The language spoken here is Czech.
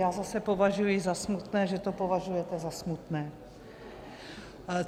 Já zase považuji za smutné, že to považujete za smutné.